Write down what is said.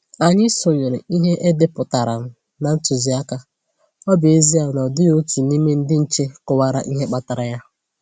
Anyị sonyere ihe e depụtaran na ntụziaka, ọ bụ ezie na ọ dịghị otu n'ime ndị nche kọwara ihe kpatara ya.